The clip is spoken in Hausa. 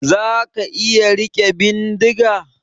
Zaka iya rike bindiga?